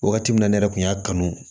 Wagati min na ne yɛrɛ kun y'a kanu